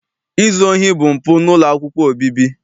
Izu ohi bụ mpụ n'ụlọ akwụkwọ obibi.